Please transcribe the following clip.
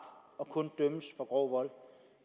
og kun dømmes for grov vold